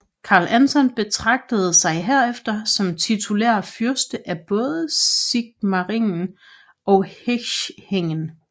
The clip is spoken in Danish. Karl Anton betragtede sig herefter som titulær fyrste af både Sigmaringen og Hechingen